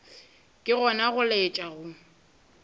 ke gona go laetša go